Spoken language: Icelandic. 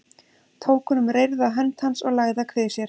Tók hún um reyrða hönd hans og lagði að kvið sér.